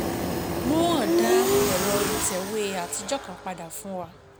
Mohan dá ẹ̀rọ ìtẹ̀wé àtijọ́ kan padà fún wa.